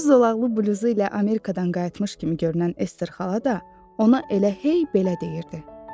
Öz zolaqlı bluzu ilə Amerikadan qayıtmış kimi görünən Ester xala da ona elə hey belə deyirdi.